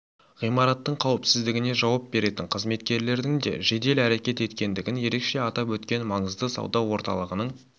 ғимараттың қауіпсіздігіне жауап беретін қызметкерлердің де жедел әрекет еткендігін ерекше атап өткен маңызды сауда орталығының